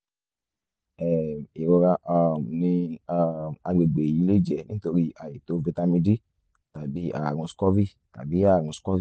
um ìrora um ní um àgbègbè yìí lè jẹ́ nítorí àìtó fítámì d tàbí àrùn scurvy tàbí àrùn scurvy